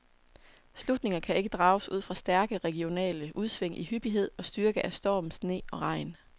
Slutninger kan ikke drages ud fra stærke regionale udsving i hyppighed og styrke af storm, sne og regn.